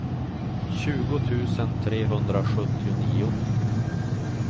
tjugo tusen trehundrasjuttionio